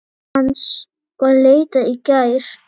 Hans var leitað í gær.